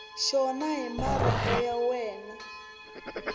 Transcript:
xona hi marito ya wena